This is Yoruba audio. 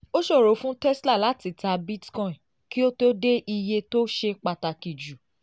ó ṣòro fún tesla láti ta bitcoin kí ó tó dé iye tó ṣe pàtàkì jù